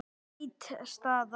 Það er afleit staða.